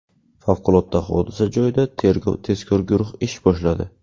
Favqulodda hodisa joyida tergov-tezkor guruh ish boshladi.